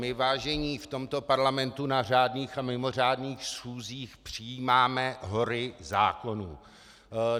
My, vážení, v tomto parlamentu na řádných a mimořádných schůzích přijímáme hory zákonů.